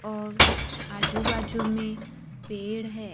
और आजू बाजू में पेड़ है।